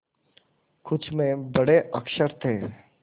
कुछ में बड़े अक्षर थे